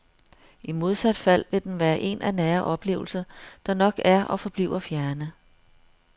I modsat fald vil den være en af nære oplevelser, der nok er og forbliver fjerne.